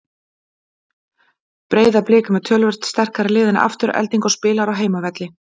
Breiðablik er með töluvert sterkara lið en Afturelding og spilar á heimavelli.